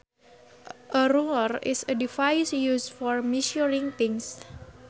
A ruler is a device used for measuring things